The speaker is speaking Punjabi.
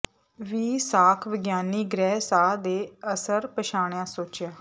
ਵੀ ਸਾਖ ਵਿਗਿਆਨੀ ਗ੍ਰਹਿ ਸਾਹ ਦੇ ਅਸਰ ਪਛਾਣਿਆ ਸੋਚਿਆ